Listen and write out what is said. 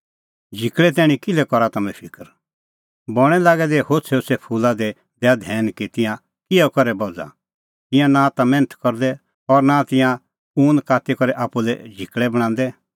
झिकल़े तैणीं किल्है करा तम्हैं फिकर बणैं लागै दै होछ़ैहोछ़ै फूला दी दैआ धैन कि तिंयां किहअ करै बझ़ा तिंयां नां ता मैन्थ करदै और नां तिंयां ऊन काती करै आप्पू लै झिकल़ै बणांदै